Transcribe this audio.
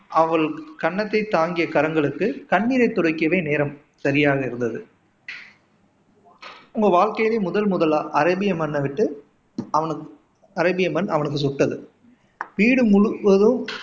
அவள் கன்னத்தை தாங்கிய கரங்களுக்கு கண்ணீரை துடைக்கவே நேரம் சரியாக இருந்தது உங்க வாழ்க்கைல முதல் முதலா அரேபிய மண்ணை விட்டு அவனுக்கு அரேபிய மண் அவனுக்கு சுட்டது. வீடு முழுவதும்